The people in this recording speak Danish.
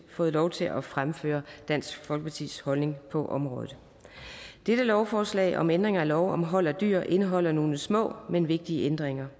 fået lov til at fremføre dansk folkepartis holdning på området dette lovforslag om ændring af lov om hold af dyr indeholder nogle små men vigtige ændringer